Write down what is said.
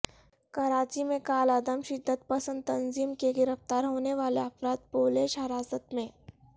کراچی میں کالعدم شدت پسند تنظیم کے گرفتار ہونے والے افراد پولیش حراست میں